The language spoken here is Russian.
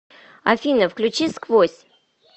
афина включи сквозь